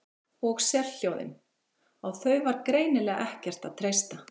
Og sérhljóðin, á þau var greinilega ekkert að treysta.